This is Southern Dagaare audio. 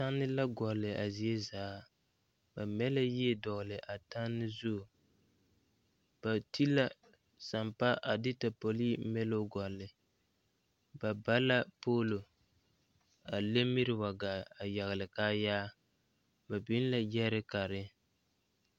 Tanne la gɔlle a zie zaa ba mɛ la yie dɔgle a tanne zu ba ti la sampa a de tapolee miloo gɔlle ba ba la poolo a le miri wa gaa a yagle kaayaa ba biŋ la gyerikare.